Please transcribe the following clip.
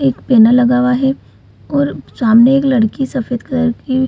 एक पैनल लगा हुआ है और सामने एक लड़की सफेद कलर की --